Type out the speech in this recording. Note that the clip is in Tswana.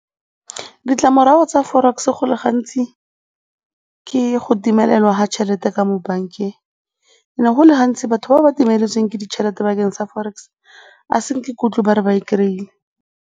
Ditlamorago tsa forex go le gantsi ke go timelelwa ga tšhelete ka mo bankeng go le gantsi batho ba ba timeletsweng ke ditšhelete bakeng sa forex, ga ke utlwe ba re ba e kry-ile.